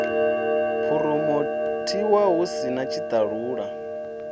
phuromothiwa hu si na tshitalula